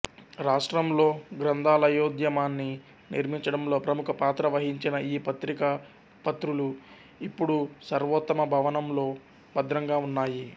రాష్ట్రంలో గ్రంథాలయోద్యమాన్ని నిర్మించడంలో ప్రముఖ పాత్ర వహించిన ఈ పత్రిక ప్రతులు ఇప్పుడు సర్వోత్తమ భవనంలో భద్రంగా ఉన్నాయి